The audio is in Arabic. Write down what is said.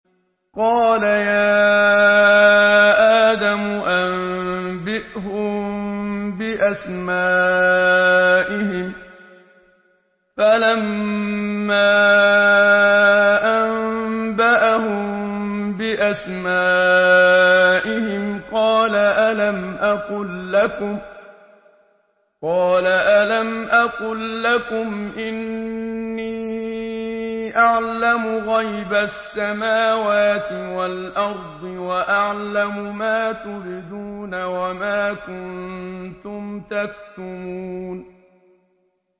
قَالَ يَا آدَمُ أَنبِئْهُم بِأَسْمَائِهِمْ ۖ فَلَمَّا أَنبَأَهُم بِأَسْمَائِهِمْ قَالَ أَلَمْ أَقُل لَّكُمْ إِنِّي أَعْلَمُ غَيْبَ السَّمَاوَاتِ وَالْأَرْضِ وَأَعْلَمُ مَا تُبْدُونَ وَمَا كُنتُمْ تَكْتُمُونَ